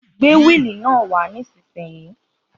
Gbé wíili náà wà nísìsiyìí